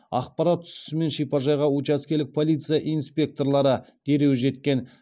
ақпарат түсісімен шипажайға учаскелік полиция инспекторлары дереу жеткен